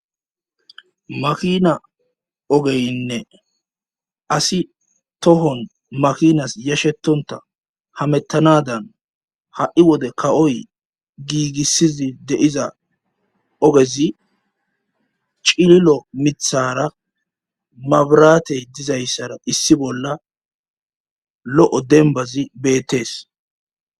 makina ogeynne asi tohon makinas yashetonta hamettanadan ha'i wode ka'oyi giigissizi de'iza ogezi cililo mithara maburatey dizayssara issi bolla lo'o denbazi beettees